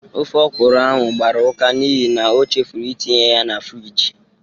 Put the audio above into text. Ofe ọkwụrụ ahụ gbara ụka n'ihi na o chefuru itinye ya na friji